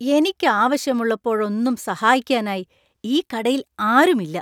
എനിക്ക് ആവശ്യമുള്ളപ്പോഴൊന്നും സഹായിക്കാനായി ഈ കടയിൽ ആരുമില്ല.